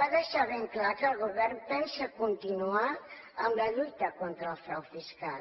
va deixar ben clar que el govern pensa continuar amb la lluita contra el frau fiscal